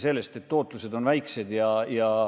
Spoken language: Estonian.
Nende ootused on väiksed.